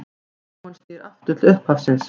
Úrkoman snýr aftur til upphafsins.